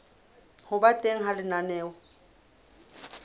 ho ba teng ha lenaneo